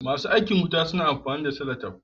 Masu aikin wuta suna amfani da solatif.